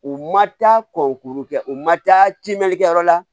U ma taa ko kuru kɛ u ma taa timinankɛ yɔrɔ la